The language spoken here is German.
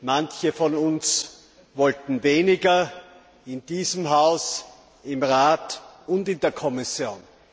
manche von uns wollten weniger, in diesem Haus, im Rat und in der Kommission.